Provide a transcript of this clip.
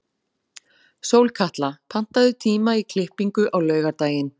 Sólkatla, pantaðu tíma í klippingu á laugardaginn.